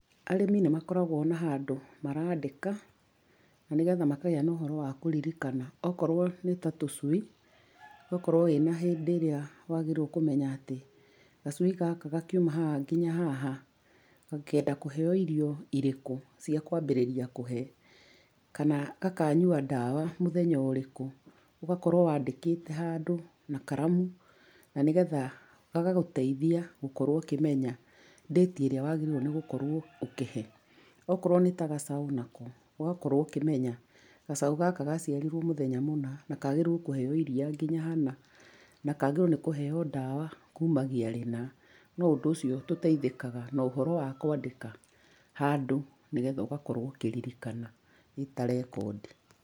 Arĩmi nĩ makoragwo na handũ marandĩka, na nĩgetha makagĩa na ũhoro wa kũririkana. Okorwo nĩ ta tũcui, ũgakorũo wĩna hĩndĩ ĩrĩa wagĩrĩirũo nĩ kũmenya atĩ gacui gaka gakiuma haha nginya haha, kangĩenda kũheo irio irĩkũ cia kwambĩrĩria kũhe kana gakanyua ndawa mũthenya ũrĩkũ. Ũgakorũo wandĩkĩte handũ na karamu na nĩgetha gagatũteithia gũkorwo ũkĩmenya date ĩrĩa wagĩrĩirũo nĩ gũkorũo ũkĩhe. Okorũo nĩ ta gacaũ nako ũgakorũo ũkĩmenya gacaũ gaka gaciarirũo mũthenya mũna, na kaagĩrĩirũo kũheo iria nginya hana na kaagĩrĩirũo nĩ kũheo ndawa kumagia rĩna. No ũndũ ũcio tũteithĩkaga no ũhoro wa kwandĩka handũ nĩgetha ũgakorũo ũkĩririkana, ĩ ta rekondi.